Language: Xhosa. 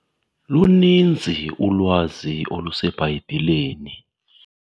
Luninzi ulwazi oluseBhayibhileni.